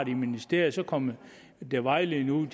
ministeriet så kommer der vejledning ud